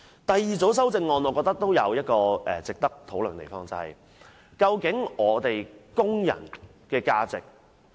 第二組修正案我認為亦有值得討論的地方，究竟工人的價值為何？